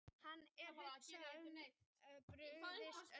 Hann var að hugsa um að hann hefði brugðist öllum.